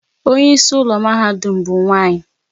Onye isi ụlọ mahadum ha bụ nwanyị